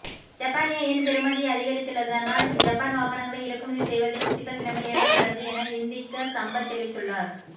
ஜப்பானிய யென் பெறுமதி அதிகரித்துள்ளதனால் ஜப்பான் வாகனங்களை இறக்குமதி செய்வதிலும் சிக்கல் நிலைமை ஏற்பட்டுள்ளது என இந்திக்க சம்பத் தெரிவித்துள்ளார்